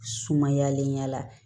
Sumayalen ya la